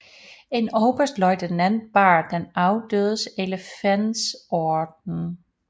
En oberstløjtnant bar den afdødes elefantorden